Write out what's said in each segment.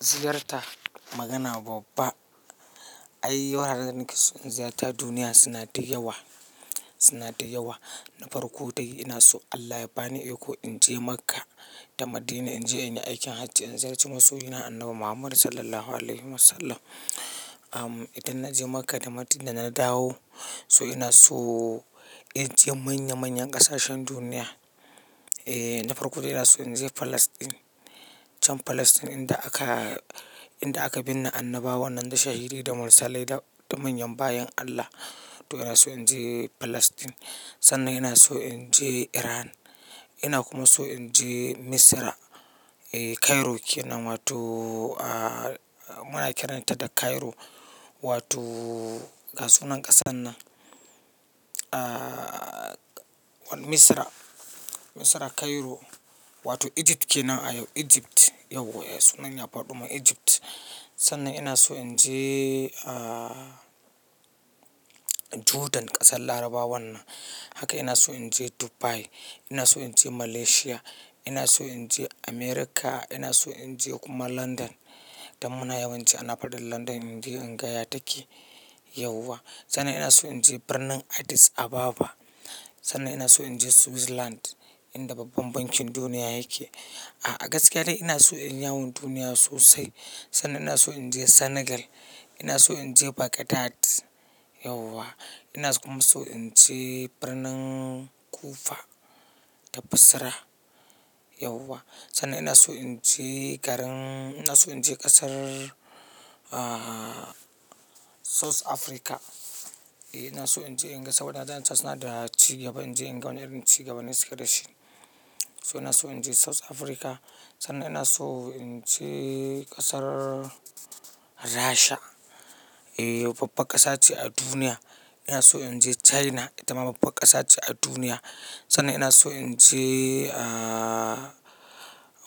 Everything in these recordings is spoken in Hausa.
Ziyarta magana babba. Ayi wuraren da nake so in ziyarta duniya suna da yawa, suna da yawa. Na farko dai, ina so Allah ya bani iko in je Makka da Madina in je in yi aikin hajji, in ziyarci masoyina annabi Muhammad SAW. Idan na je Makka da Madina na dawo, so ina so, in je manya manyan ƙasashen duniya. Eh, na farko dai ina so in je Falasɗin. Can Falasɗin inda aka, inda aka binne annabawan nan, da shahidai, da mursalai da manyan bayin Allah. To ina so in je Falasɗin. Sannan ina so in je Iran. Ina kuma so in je Misira. Eh, Cairo ke nan wato muna kiranta da Cairo, wato ga sunan ƙasar nan. Ah, wani Misira, Misira Cairo wato Egypt ke nan a yau, Egypt yauwa sunan ya faɗo min Egypt. Sannan ina so in je, ah, Jordan ƙasar larabawan nan. Haka ina so in je Dubai. Ina so in je Malaysia. Ina so in je America. Ina so in je kuma London. Dan muna yawanci ana faɗin London, in je in ga ya take, yauwa. Sannan ina so in je birnin Addis Ababa. Sannan ina so in je Switzerland inda babban bankin duniya yake. A gaskiya dai ina so in yi yawon duniya sosai. Sannan ina so in je Senegal. Ina so in je Baghdad yauwa. Ina kuma so in je birnin Kufa, da Basra, yauwa. Sannan ina so in je garin, ina so in je ƙasar ah. South Africa. Ina so in je, in ga saboda na zanta suna da ci gaba, in je in ga wani irin ci gaban da suke da shi. So, ina so in je South Africa. Sannan ina so in je, ƙasar Rasha. Eh, babban ƙasa ce a duniya. Ina so in je China, ita ma babban ƙasa ce a duniya. Sannan ina so in je, ah,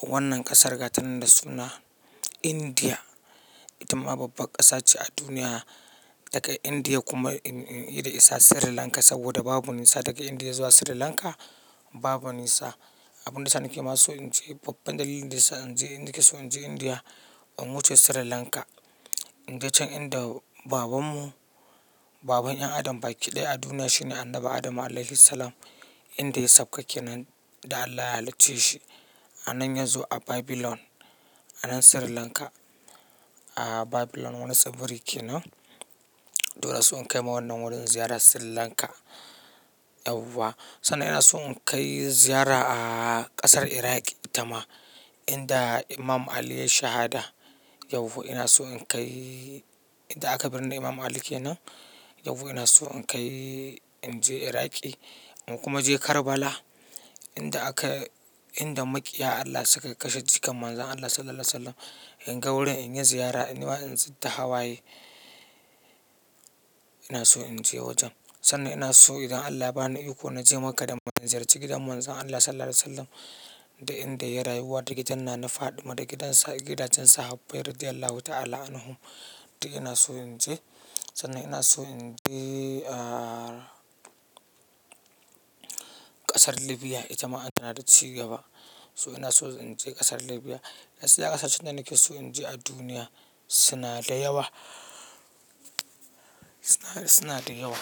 wannan ƙasar gatanin da suna India. Ita ma babban ƙasa ce a duniya. Daga India kuma in yi da isa Sri Lanka saboda babu nisa, daga India zuwa Sri Lanka, babu nisa. Abun da ya sa ni ke ma so in je babban dalilin da ya sa in je, nake so in je India in wuce Sri Lanka. In je can inda babanmu, baban 'yan adam baki ɗaya a duniya shine Annabi Adam Alaihis Salam, inda ya sauka kenan, da Allah ya halicce shi. Anan ya zo a Babylon, anan Sri Lanka. Ah, Babylon wani tsibiri ke nan. Dole son in kai ma wannan wurin ziyara Sri Lanka, yauwa. Sannan ina so in kai ziyara a ƙasar Iraq ita ma, inda Imam Ali yayi shahada yauwa. Ina so in kai inda aka binne Imam Ali ke nan. Yauwa ina so in kai, in je Iraq, in kuma je Karbala inda aka, inda maƙiya Allah suka kashe jikan Manzon Allah SAW. In ga wurin, in yi ziyara, in zub da hawaye. Ina so in je wajen. Sannan ina so idan Allah ya bani iko na je Makka da Madina, in ziyarci gidan Manzon Allah SAW, da inda ya rayuwa, da gidan nana faɗima, da gidajen sahabbai radi'Allahu ta'ala anhum. Duk ina so in je. Sannan ina so in je, ah, ƙasar Libya ita ma ana da ci gaba. So ina so in je ƙasar Libya. Gaskiya ƙasashen da nake so in je a duniya, suna da yawa, suna da yawa.